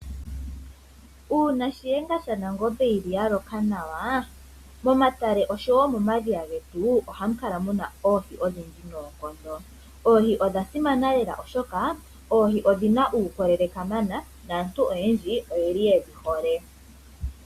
Una shiyenga shanangombe yili ya loka nawa momatale oshowo momadhiya getu ohamu kala muna oohi odhindji nonkondo. Oohi odha simana lela oshoka oohi odhina uukolele kamana naantu oyendji oyeli yedhi hole.